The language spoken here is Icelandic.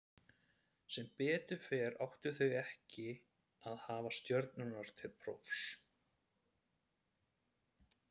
Sem betur fer áttu þau ekki að hafa stjörnurnar til prófs.